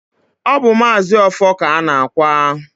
ọ bụ Maazi Ọfọr ka a na-akwa.